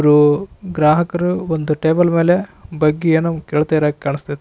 ಬ್ಬರು ಗ್ರಾಹಕರು ಒಂದು ಟೇಬಲ್ ಮೇಲೆ ಬಗ್ಗಿ ಏನೋ ಕೇಳ್ತಾ ಇರೋಹಾಗೆ ಕಾಣಿಸ್ತಾ ಐತ --